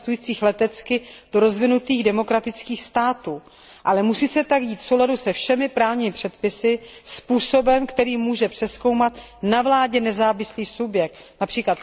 cestujících letecky, do rozvinutých demokratických států, ale musí se tak dít v souladu se všemi právními předpisy způsobem, který může přezkoumat na vládě nezávislý subjekt, např.